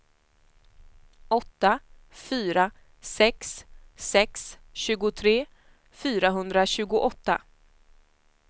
åtta fyra sex sex tjugotre fyrahundratjugoåtta